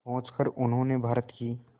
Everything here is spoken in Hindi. पहुंचकर उन्होंने भारत की